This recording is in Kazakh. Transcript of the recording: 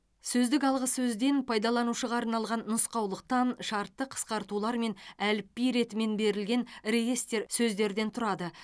сөздік алғы сөзден пайдаланушыға арналған нұсқаулықтан шартты қысқартулар мен әліпби ретімен берілген реестр сөздерден тұрады